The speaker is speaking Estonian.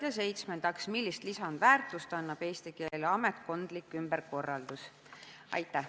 Ja seitsmendaks, millist lisandväärtust annab eesti keele ametkondlik ümberkorraldus?